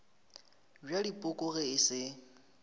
bja dipoko ge e se